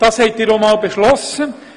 Das haben Sie einmal so beschlossen.